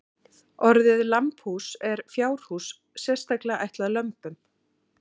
Orðið lambhús er fjárhús sérstaklega ætlað lömbum.